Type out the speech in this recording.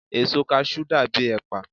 èso cashew dàbí ẹpa